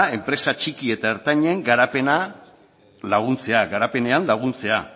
enpresa txiki eta ertainen garapenean laguntzea